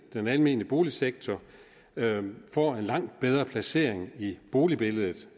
den almene boligsektor får en langt bedre placering i boligbilledet